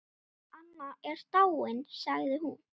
Anna er dáin sagði hún.